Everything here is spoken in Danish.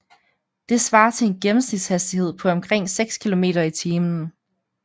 Det svarer til en gennemsnitshastighed på omkring 6 km i timen